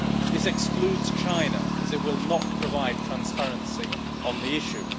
This excludes China, as it will not provide transparency on the issue.